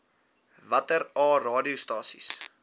watter aa radiostasies